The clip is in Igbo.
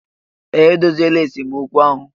Ee, edoziela esemokwu ahụ